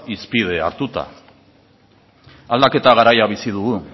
hizpide hartuta aldaketa garaia bizi dugu